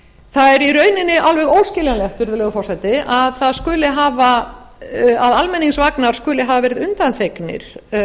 það er í rauninni alveg óskiljanlegt virðulegur forseti að almenningsvagnar skulu hafa verið undanþegnir